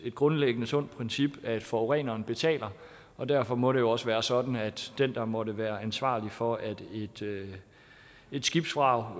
grundlæggende et sundt princip at forureneren betaler og derfor må det også være sådan at den der måtte være ansvarlig for at et skibsvrag